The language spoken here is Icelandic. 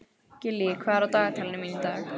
Gillý, hvað er á dagatalinu mínu í dag?